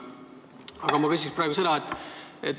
Aga ma küsin praegu seda.